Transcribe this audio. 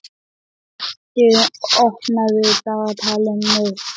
Patti, opnaðu dagatalið mitt.